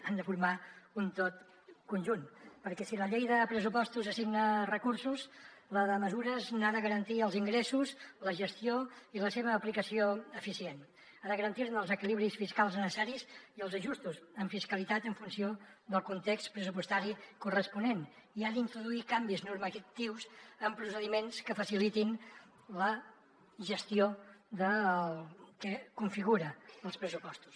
han de formar un tot conjunt perquè si la llei de pressupostos assigna recursos la de mesures n’ha de garantir els ingressos la gestió i la seva aplicació eficient ha de garantir ne els equilibris fiscals necessaris i els ajustos en fiscalitat en funció del context pressupostari corresponent i ha d’introduir canvis normatius en procediments que facilitin la gestió del que configuren els pressupostos